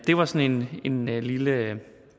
var sådan en lille